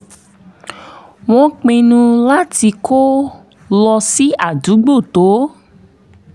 wọ́n pinnu láti kó lọ sí àdúgbò tó